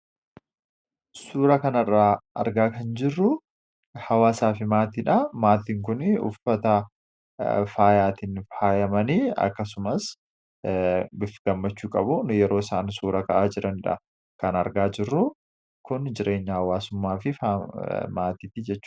suura kanarra argaa kan jirru hawaasaa fi maatii dha. Maatiin kunii uffata faayaatiin faayamanii akkasumas bifa gammachuu qabun yeroo isaan suura ka'aa jirandha kan argaa jirru kun jireenya hawwaasummaa fi maatiiti jechudha